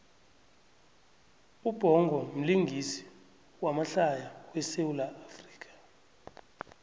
ubhongo mlingisi wamahlaya we sawula afrika